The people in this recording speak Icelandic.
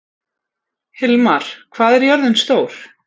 Hilmar, hvað er jörðin stór?